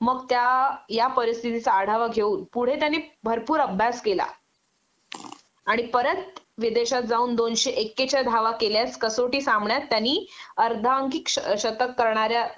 मग त्या या परिस्थितीचा आढावा घेऊन पुढे त्याने भरपूर अभ्यास केला आणि परत विदेशात जाऊन दोनशे एक्केच्या धावा केल्यास कसोटी सामन्यात त्यानी अर्धांकीत शतक करणाऱ्या